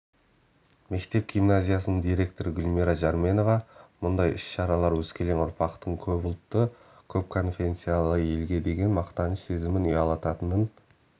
мектеп-гимназиясының директоры гүлмира жарменова мұндай іс-шаралар өскелең ұрпақтың көпұлтты көп конфессиялы елге деген мақтаныш сезімін ұялататынын